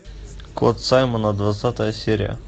кот саймона двадцатая серия